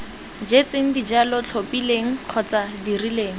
jetseng dijalo tlhophileng kgotsa dirileng